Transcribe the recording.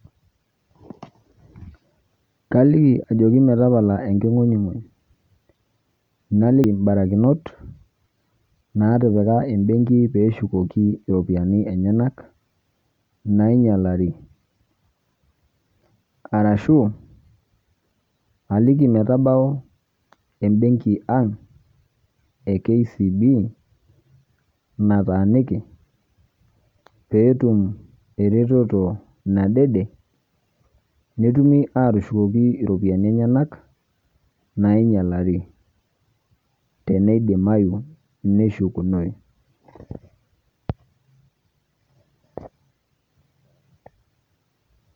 Kaliki ajoki metapala enking'unyung'uny. Naliki imbarakinot naatipika embenki peeshukoki iropiani enyenak nainyalari arashu aliki metabau embenki ang' e kcb nataaniki peetum eretoto nadede netumi aatushukoki iropinai enyenak naainyalari teneidimayu neshukunoyu.